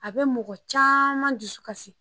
A bɛ mɔgɔ caman dusukasi